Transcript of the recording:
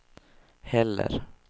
heller